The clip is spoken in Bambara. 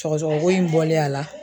Sɔgɔsɔgɔ ko in bɔlen a la